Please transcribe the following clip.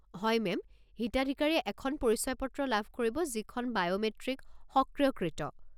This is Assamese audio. হয় মে'ম! হিতাধিকাৰীয়ে এখন পৰিচয় পত্ৰ লাভ কৰিব যিখন বায়'মেট্ৰিক-সক্ৰিয়কৃত।